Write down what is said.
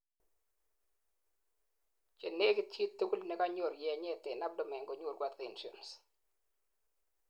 chenegit chitugul nekanyor yenyet en abdomen konyoru adhesions